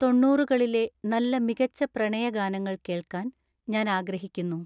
തൊണ്ണൂറുകളിലെ നല്ല മികച്ച പ്രണയ ഗാനങ്ങൾ കേൾക്കാൻ ഞാൻ ആഗ്രഹിക്കുന്നു